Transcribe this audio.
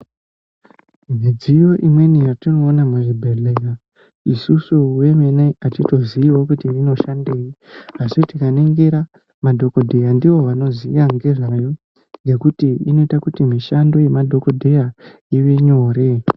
Midziyo imweni yatinoona muzvibhedhlera isusu vemene ngatitoziyawo kuti inoshandei, asi tikaningira madhokodheya ndiwo vanoziya ngezvayo nekuti inota kuti mishando yemadhokodheya ivenyore.